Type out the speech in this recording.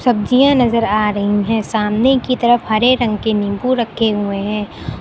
सब्जियां नजर आ रही हैं सामने की तरफ हरे रंग के नींबू रखे हुए हैं।